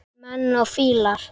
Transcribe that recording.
Menn og fílar